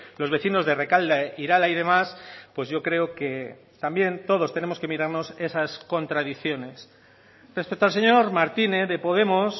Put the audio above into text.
los vecinos de rekalde irala y demás pues yo creo que también todos tenemos que mirarnos esas contradicciones respecto al señor martínez de podemos